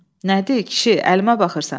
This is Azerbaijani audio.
Nədir, kişi, əlimə baxırsan?